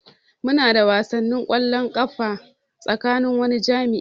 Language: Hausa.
Muna da wasan kwallon kafa tsakanin wani jami'i.